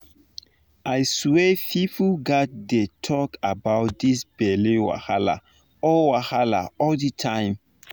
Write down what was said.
i swear people gats dey talk about this belle wahala all wahala all the time